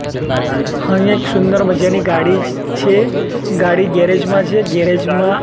હ એક સુંદર મજાની ગાડી છે ગાડી ગેરેજ માં છે ગેરેજ માં--